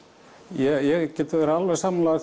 ég get verið alveg sammála